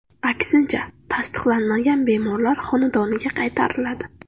Aksincha, tasdiqlanmagan bemorlar xonadoniga qaytariladi.